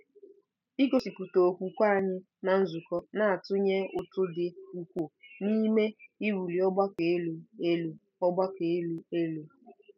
Igosipụta okwukwe anyị ná nzukọ na-atụnye ụtụ dị ukwuu n’ime “iwuli ọgbakọ elu” elu. ọgbakọ elu” elu.